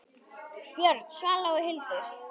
Björn, Svava og Hildur.